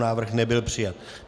Návrh nebyl přijat.